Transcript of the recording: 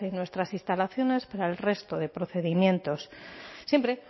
en nuestras instalaciones para el resto de procedimientos siempre